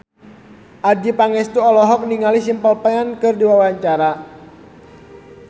Adjie Pangestu olohok ningali Simple Plan keur diwawancara